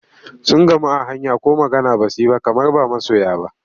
Sun gamu a hanya ko magana ba su yi ba kamar ba masoya ba.